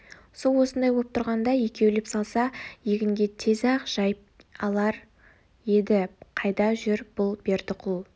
су осындай боп тұрғанда екеулеп салса егінге тез-ақ жайып алар еді қайда жүр бұл бердіқұл